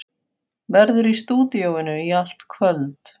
Verður í stúdíóinu í allt kvöld.